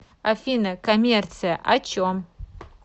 афина коммерция о чем